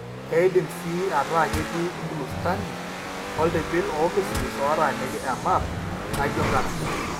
Keidim sii ataa ketii inclusterni ooltibil oomisismis ootaaniki emap naijio inkarash.